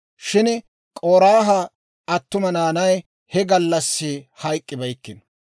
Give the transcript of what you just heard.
Shin K'oraaha attuma naanay he gallassi hayk'k'ibeykkino.